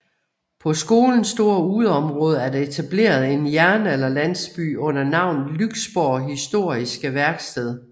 På skolens store udeområde er der etableret en jernalderlandsby under navnet Lyksborg Historiske Værksted